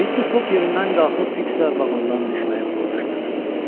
Mister Foq yerindən qalxıb Fiksla vaqondan düşməyi planlaşdırırdı.